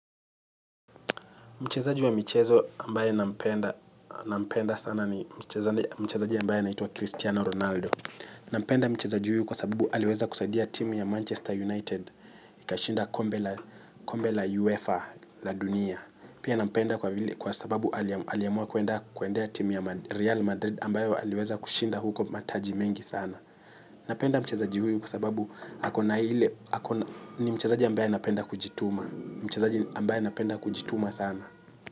Mchezaji wa michezo ambaye nampenda sana ni mchezaji ambaye anaitwa Cristiano Ronaldo. Nampenda mchezaji huyu kwa sababu aliweza kusaidia timu ya Manchester United. Ika shinda kombe la UEFA la dunia. Pia nampenda kwa sababu aliamua kuendea timu ya Real Madrid ambayo aliweza kushinda huko mataji mengi sana. Napenda mchezaji huyu kwa sababu ni mchazaji ambaye anapenda kujituma sana.